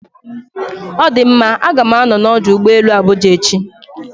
Ọ dị mma, A ga m anọ na ọdụ ụgbọ elu Abuja echi